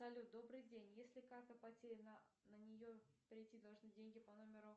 салют добрый день если карта потеряна на нее прийти должны деньги по номеру